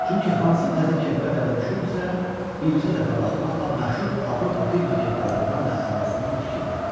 Çünki hansı təzə kepka dəbə düşürdüsə, bircə dəfə baxmaqla məşhur Avropa firma kepkalarından da əlasını o tikirdi.